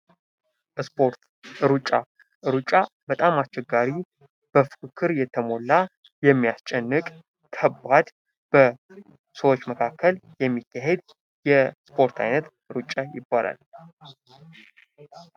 እስፖርት ሩጫ ሩጫ በጣም አስቸጋሪው በፉክክር የተሞላ የሚያስጨንቅ ከባድ በሰዎች መካከል የሚካሄድ የስፖርት አይነት ሩጫ ይባላል ::